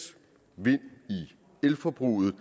af elforbruget